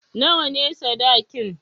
Nawa ne sadakin?